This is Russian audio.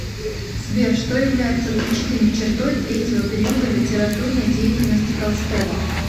сбер что является отличительной чертой третьего периода литературной деятельности толстого